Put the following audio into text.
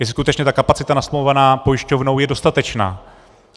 Jestli skutečně ta kapacita nasmlouvaná pojišťovnou je dostatečná.